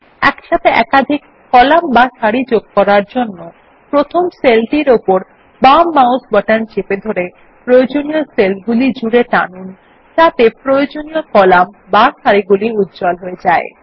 একসাথে একাধিক কলাম বা সারি যোগ করার জন্য প্রথম সেলটির উপর বাম মাউস বাটন চেপে ধরে প্রয়োজনীয় সেলগুলি জুড়ে টেনে আনতে হবে যাতে প্রয়োজনীয় কলাম বা সারি গুলিউজ্জ্বল হয়ে যায়